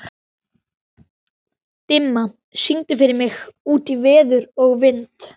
Dimma, syngdu fyrir mig „Út í veður og vind“.